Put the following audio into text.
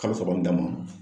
Kalo saba in dama